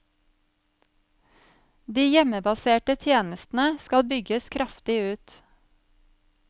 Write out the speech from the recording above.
De hjemmebaserte tjenestene skal bygges kraftig ut.